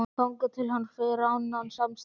Þangað til hann fær annan samastað